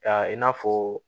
Ya i n'a fɔ